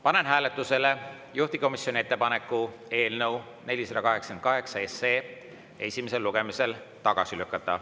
Panen hääletusele juhtivkomisjoni ettepaneku eelnõu 488 esimesel lugemisel tagasi lükata.